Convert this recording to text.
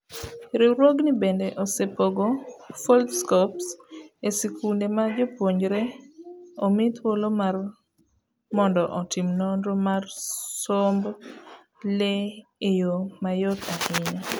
Riwruogni bende osee pogo Foldscopes esikunde ma jopuonjre omii thuolo mar mondo otim nonro mar somb lee eyoo mayot ahinya.